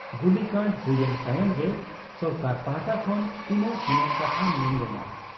ᱜᱩᱞᱤᱠᱟᱸᱰ ᱦᱩᱭᱮᱱ ᱛᱟᱭᱚᱢ ᱜᱮ ᱥᱚᱨᱠᱟᱨ ᱯᱟᱦᱴᱟ ᱠᱷᱚᱱ ᱛᱤᱱᱟᱹᱜ ᱛᱤᱱᱟᱹᱜ ᱠᱟᱛᱷᱟ ᱢᱮᱱ ᱞᱮᱱᱟ ᱾